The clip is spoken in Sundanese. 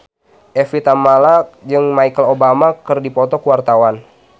Evie Tamala jeung Michelle Obama keur dipoto ku wartawan